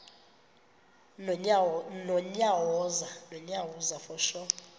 nonyawoza